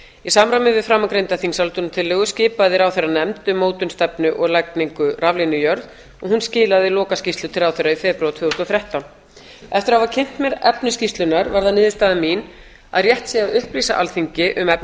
í samræmi við framangreinda þingsályktunartillögu skipaði ráðherra nefnd um mótun stefnu og lagningu raflína í jörð og hún skilaði lokaskýrslu til ráðherra í febrúar tvö þúsund og þrettán eftir að hafa kynnt mér efni skýrslunnar varð það niðurstaða mín að rétt sé að upplýsa alþingi um efni